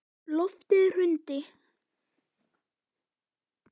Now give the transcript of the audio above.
Loftið hrundi.